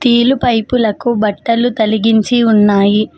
నీళ్ళు పైపు లకు బట్టలు తలిగించి ఉన్నాయి.